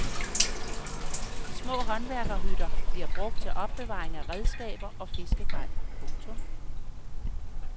De små håndværkerhytter bliver brugt til opbevaring af redskaber og fiskegrej. punktum